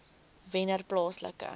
wennerplaaslike